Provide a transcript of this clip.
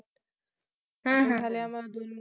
हम्म हम्म